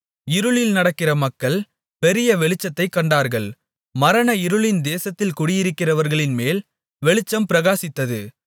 இருளில் நடக்கிற மக்கள் பெரிய வெளிச்சத்தைக் கண்டார்கள் மரண இருளின் தேசத்தில் குடியிருக்கிறவர்களின்மேல் வெளிச்சம் பிரகாசித்தது